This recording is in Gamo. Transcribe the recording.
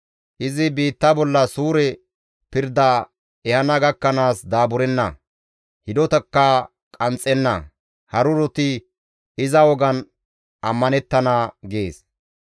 Izi biitta bolla suure pirda ehana gakkanaas daaburenna; hidotakka qanxxenna; haruroti iza wogan ammanettana» gees.